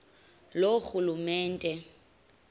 loorhulumente